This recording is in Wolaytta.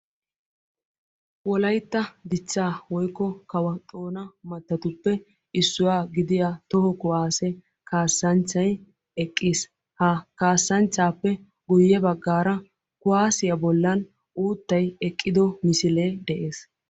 Wolayitta dichchaa woyikko kawo xoona baggatuppe issuwa gidiya toho kuwaassiya kaassanchay eqqis. Ha kaasanchchaappe guyye baggara kuwaassiya bollan uuttay eqqido misile de'oosona.